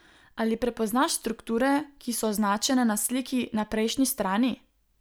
Ali prepoznaš strukture, ki so označene na sliki na prejšnji strani?